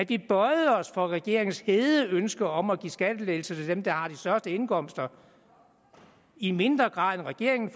vi bøjede os for regeringens hede ønske om at give skattelettelser til dem der har de største indkomster i mindre grad end regeringen